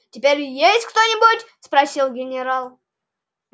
теперь есть кто-нибудь спросил генерал